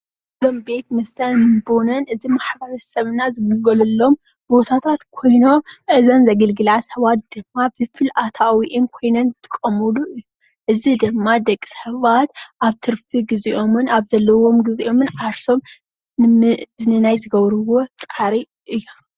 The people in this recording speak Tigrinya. ቤት መስተን ቦኖን ምግብን ኾይኖም ፥።ደቃሰባት ዝዛናግዕሎም እዮሞ። ፍልፍል ኣታውን ኽይኑ ዘገልጎሎም እዩ።